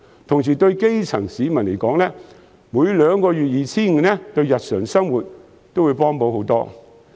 另外，對基層市民來說，每兩個月 2,500 元對日常生活的幫助也較大。